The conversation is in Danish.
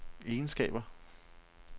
egenskaber